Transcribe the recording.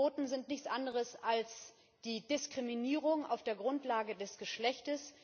Quoten sind nichts anderes als die Diskriminierung auf der Grundlage des Geschlechts.